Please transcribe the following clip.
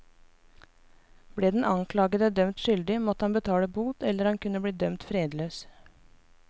Ble den anklagede dømt skyldig, måtte han betale bot eller han kunne bli dømt fredløs.